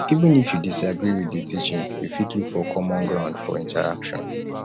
even if you disagree with di teaching you fit look for common ground fot interaction